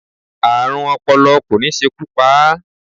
Ààrùn ọpọlọ kò ní ṣekú pa á.